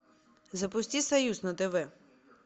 запусти союз на тв